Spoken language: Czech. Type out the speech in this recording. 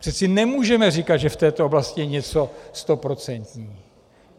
Přeci nemůžeme říkat, že v této oblasti je něco stoprocentní.